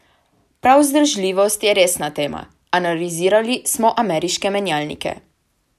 Prav vzdržljivost je resna tema: "Analizirali smo ameriške menjalnike.